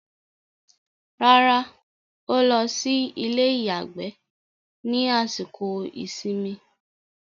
Rárá, ó lọ sí ilé-ìyàgbẹ́ ní àsìkò ìsinmi.